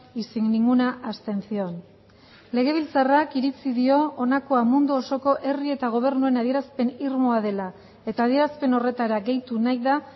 y sin ninguna abstención legebiltzarrak iritzi dio honakoa mundu osoko herri eta gobernuen adierazpen irmoa dela eta adierazpen horretara gehitu nahi da